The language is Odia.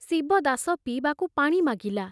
ଶିବଦାସ ପିଇବାକୁ ପାଣି ମାଗିଲା।